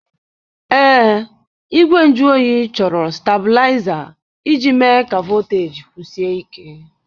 Ee, igwe nju oyi chọrọ stablaịza iji mee ka voteji kwụsie ike.